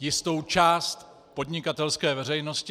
jistou část podnikatelské veřejnosti.